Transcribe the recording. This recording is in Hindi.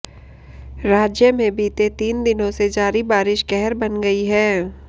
राज्य में बीते तीन दिनों से जारी बारिश कहर बन गई है